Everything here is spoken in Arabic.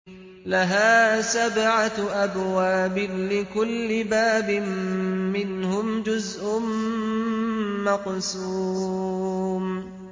لَهَا سَبْعَةُ أَبْوَابٍ لِّكُلِّ بَابٍ مِّنْهُمْ جُزْءٌ مَّقْسُومٌ